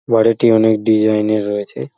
বাড়িটি অনেক ডিসাইন -এর রয়েছে।